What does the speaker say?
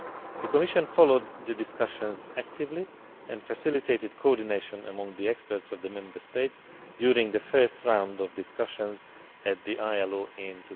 The Commission followed the discussions actively and facilitated coordination among the experts of the Member States during the first round of discussions at the ILO in